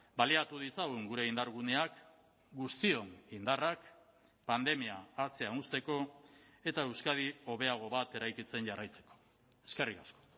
baliatu ditzagun gure indarguneak guztion indarrak pandemia atzean uzteko eta euskadi hobeago bat eraikitzen jarraitzeko eskerrik asko